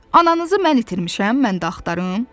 Ananızı mən itirmişəm, mən də axtarım?